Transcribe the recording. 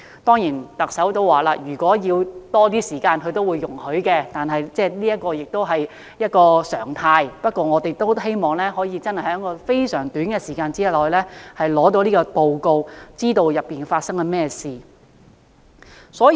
當然，特首曾表示會容許花更長的時間，但短時間完成是常態，而我們也希望可以在非常短的時間內取得報告，知道當中發生了甚麼事情。